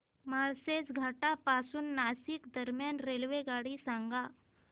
माळशेज घाटा पासून नाशिक दरम्यान रेल्वेगाडी सांगा